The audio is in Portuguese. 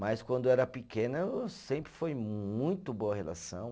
Mas quando era pequena, sempre foi muito boa a relação.